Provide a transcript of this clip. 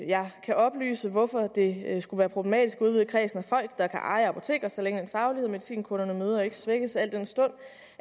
jeg kan oplyse hvorfor det skulle være problematisk at udvide kredsen af folk der kan eje apoteker så længe den faglighed medicinkunderne møder ikke svækkes al den stund